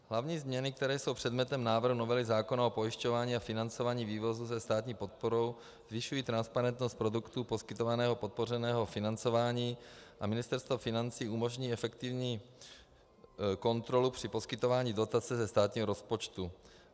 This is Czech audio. Hlavní změny, které jsou předmětem návrhu novely zákona o pojišťování a financování vývozu se státní podporou, zvyšují transparentnost produktů poskytovaného podpořeného financování a Ministerstvo financí umožní efektivní kontrolu při poskytování dotace ze státního rozpočtu.